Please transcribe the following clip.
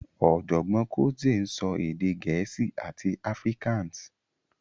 Ọ̀jọ̀gbọ́n Cotzee ń sọ èdè Gẹ̀ẹ́sì àti Afrikaans